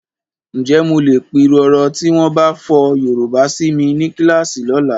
Ǹjẹ́ mo lè pirọrọ tí wọ́n bá fọ Yorùbá si mi ní kíláàsì lọ́la?